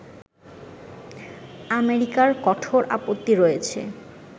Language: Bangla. আমেরিকার কঠোর আপত্তি রয়েছে